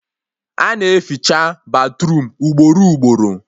A na-eficha batruum ugboro ugboro